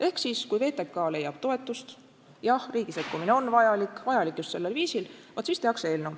Ehk siis, kui VTK leiab toetust – jah, riigi sekkumine on vajalik, vajalik just sellel viisil –, vaat siis tehakse eelnõu.